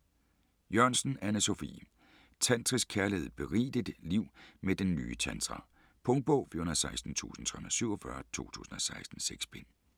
Jørgensen, Anne Sophie: Tantrisk kærlighed: berig dit liv med den nye tantra Punktbog 416347 2016. 6 bind.